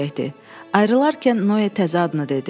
Ayrılarkən Noya təzə adını dedi.